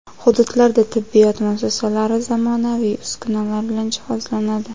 Hududlarda tibbiyot muassasalari zamonaviy uskunalar bilan jihozlanadi.